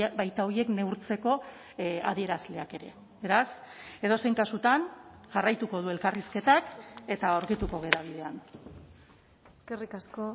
baita horiek neurtzeko adierazleak ere beraz edozein kasutan jarraituko du elkarrizketak eta aurkituko gara bidean eskerrik asko